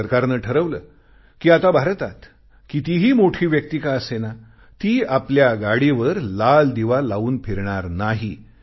जेव्हा सरकारने ठरवले कि आता भारतात कितीही मोठी व्यक्ती का असेना ती आपल्या गाडीवर लाल दिवा लावून फिरणार नाही